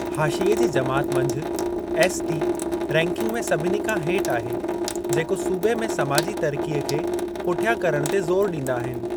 हाशिये जी जमात मंझि, एसटी रैंकिंग में सभिनी खां हेठि आहे, जेको सूबे में समाजी तरक़ीअ खे पुठियां करण ते ज़ोरु ॾींदा आहिनि।